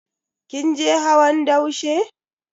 Kin je hawan daushe?